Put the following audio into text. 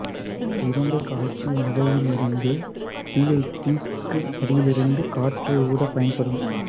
இது இரும்பைக் காய்ச்சும் உலையில் எரியும் தீயைத் தீக்கு அடியிலிருந்து காற்றை ஊதப் பயன்படும்